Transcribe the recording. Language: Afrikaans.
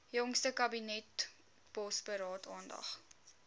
jongste kabinetsbosberaad aandag